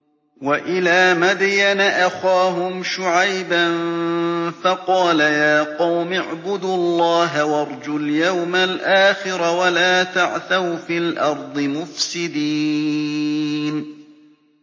وَإِلَىٰ مَدْيَنَ أَخَاهُمْ شُعَيْبًا فَقَالَ يَا قَوْمِ اعْبُدُوا اللَّهَ وَارْجُوا الْيَوْمَ الْآخِرَ وَلَا تَعْثَوْا فِي الْأَرْضِ مُفْسِدِينَ